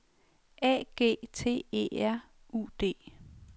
A G T E R U D